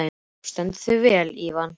Þú stendur þig vel, Ívan!